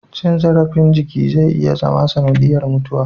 Cin zarafin jiki zai iya zama sanadiyar mutuwa